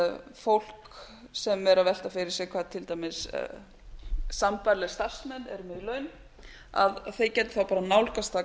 að fólk sem er að velta fyrir sér hvað til dæmis sambærilegir starfsmenn eru með í laun að þeir geti þá bara nálgast það